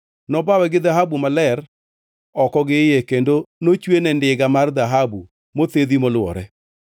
Nobawe gi dhahabu maler oko gi iye kendo nochwene ndiga mar dhahabu mothedhi molwore.